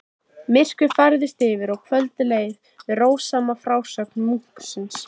Myrkrið færðist yfir og kvöldið leið við rósama frásögn munksins.